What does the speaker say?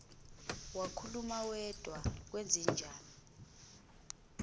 wakhuluma wedwa kwenzenjani